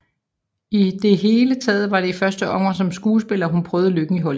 I det hele taget var det i første omgang som skuespiller hun prøvede lykken i Hollywood